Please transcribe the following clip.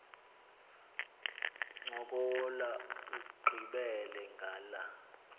ncokola ugqibele ngala